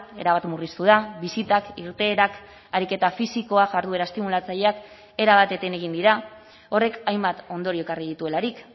erabat murriztu da bisitak irteerak ariketa fisikoa jarduera estimulatzaileak erabat eten egin dira horrek hainbat ondorio ekarri dituelarik